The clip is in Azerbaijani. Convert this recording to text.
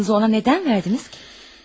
Pulunu ona nə üçün verdiniz ki?